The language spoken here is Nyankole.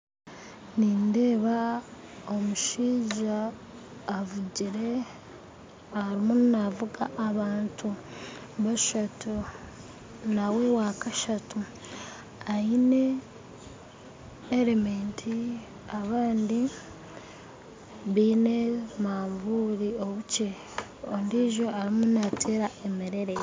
Nindeeba omushaija arimu navuga abantu bashatu nawe wakashatu aine helemeti abandi baine manvuuri obukye ondiijo arimu nateera emerere.